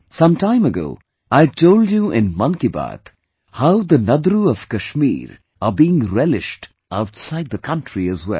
Some time ago I had told you in 'Mann Ki Baat' how 'Nadru' of Kashmir are being relished outside the country as well